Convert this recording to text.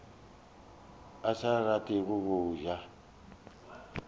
a sa rate go ja